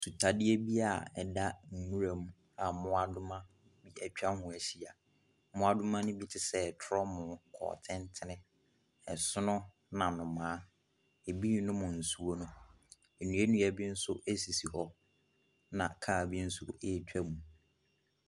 Sutadeɛ bi a ɛda nnwuram a mmoadoma atwa hoo ahya. Mmoadoma ne bi te sɛɛ trɔmoo, kɔntentene, ɛsono na nnomaa. Ɛbii nom nsuo no. Nnuanua bi nso ɛsisi hɔ na kaa bi nso ɛɛtwa mu.